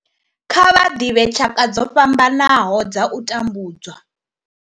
Kha vha ḓivhe tshaka dzo fhambanaho dza u tambudzwa.